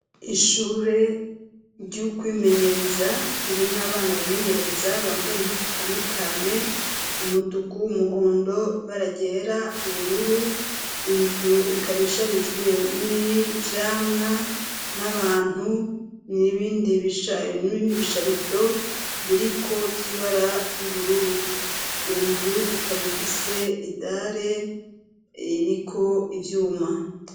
Ishure ry'ukwimenyereza ririmwo abana bimenyereza bambaye impuzu zitandukanye, umutuku, umuhondo, ibara ryera, ubururu, inzu ikaba isharijwe n'ivyamwa n'abantu n'ibindi bisharizo biriko vy'ibara y'ubururu. Iyo nzu ikaba ifise idare iriko ivyuma.